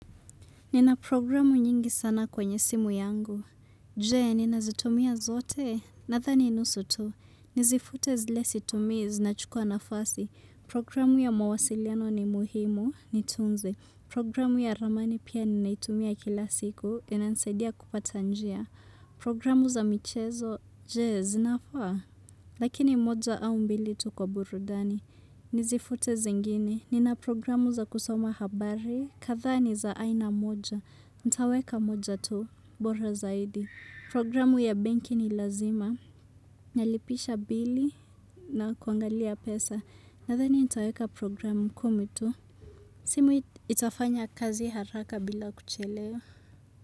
Nina programu nyingi sana kwenye simu yangu. Jee, nina zitumia zote? Nathani nusu tu. Nizifute zile situmii zinachukua nafasi. Programu ya mawasiliano ni muhimu, niitunze. Programu ya ramani pia ninaitumia kila siku, inanisaidia kupata njia. Programu za michezo, jee, zinafaa? Lakini moja au mbili tu kwa burudani. Nizifute zingine. Nina programu za kusoma habari. Katha ni za aina moja. Ntaweka moja tu. Bora zaidi. Programu ya benki ni lazima. Nalipisha bili na kuangalia pesa. Nathani nitaweka programu kumi tu. Simu itafanya kazi haraka bila kuchelewa.